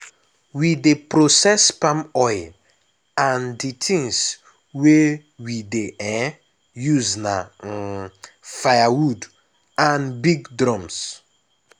we dey process palm oil and the things wey we dey um use na um firewood and big drums.